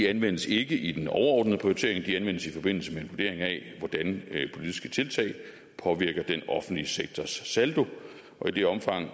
anvendes ikke i den overordnede prioritering de anvendes i forbindelse med en vurdering af hvordan politiske tiltag påvirker den offentlige sektors saldo og i det omfang